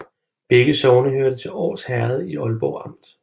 Begge sogne hørte til Års Herred i Aalborg Amt